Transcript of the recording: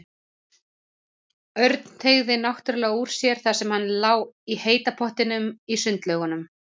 Örn teygði notalega úr sér þar sem hann lá í heita pottinum í sundlaugunum.